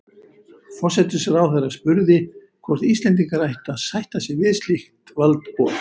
Forsætisráðherra spurði, hvort Íslendingar ættu að sætta sig við slíkt valdboð